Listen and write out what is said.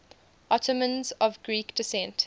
ottomans of greek descent